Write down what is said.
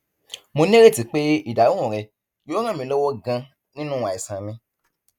mo nírètí pé ìdáhùn rẹ yóò ràn mí lọwọ ganan nínú àìsàn mi